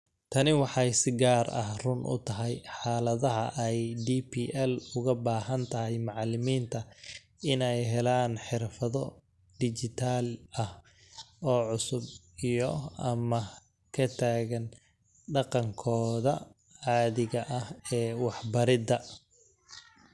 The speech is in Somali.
Tani waxay si gaar ah run u tahay xaaladaha ay DPL uga baahan tahay macallimiinta inay helaan xirfado dhijitaal ah oo cusub iyo/ama ka tagaan dhaqankooda caadiga ah ee waxbaridda.